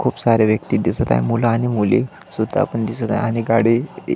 खूप साऱ्या व्यक्ति दिसत आहे मूल आणि मुली सुद्धा पण दिसत आहे आणि गाडी --